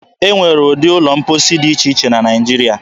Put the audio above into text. E nwere ụdị ụlọ mposi dị iche iche na Naịjiria.